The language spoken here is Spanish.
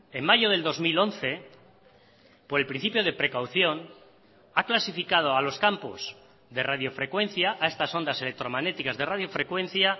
en mayo del dos mil once por el principio de precaución ha clasificado a los campos de radiofrecuencia a estas ondas electromagnéticas de radiofrecuencia